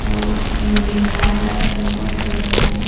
आउ ओ मेर लिखाये हे रक्त कोष लिखाये हे।